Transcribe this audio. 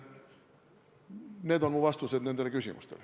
Need on mu vastused nendele küsimustele.